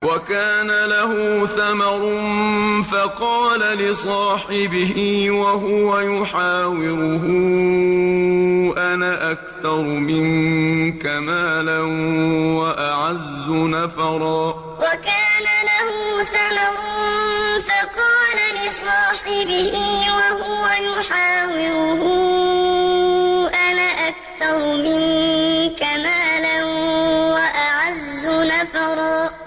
وَكَانَ لَهُ ثَمَرٌ فَقَالَ لِصَاحِبِهِ وَهُوَ يُحَاوِرُهُ أَنَا أَكْثَرُ مِنكَ مَالًا وَأَعَزُّ نَفَرًا وَكَانَ لَهُ ثَمَرٌ فَقَالَ لِصَاحِبِهِ وَهُوَ يُحَاوِرُهُ أَنَا أَكْثَرُ مِنكَ مَالًا وَأَعَزُّ نَفَرًا